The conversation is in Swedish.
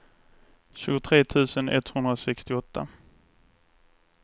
tjugotre tusen etthundrasextioåtta